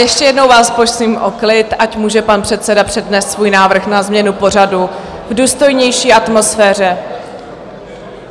Ještě jednou vás prosím o klid, ať může pan předseda přednést svůj návrh na změnu pořadu v důstojnější atmosféře.